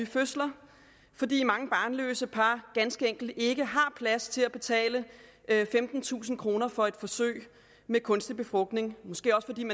fødsler fordi mange barnløse par ganske enkelt ikke har plads til at betale femtentusind kroner for et forsøg med kunstig befrugtning og måske også fordi